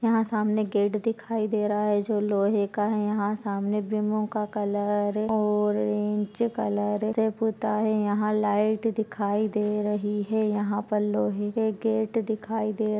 यहा सामने गेट दिखाई दे रहा है जो लोहे का है यहा सामने भीमोका कलर औरेंज कलर से पूता है यहा लाइट दिखाई दे रही है यहा पर लोहे के गेट दिखाई दे--